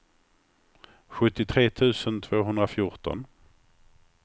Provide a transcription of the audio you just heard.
sjuttiotre tusen tvåhundrafjorton